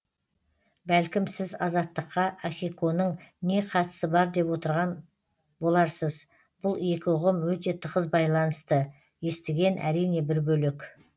бәлкім сіз азаттыққа ахиконың не қатысы бар деп отырған боларсыз бұл екі ұғым өте тығыз байланысты естіген әрине бір бөлек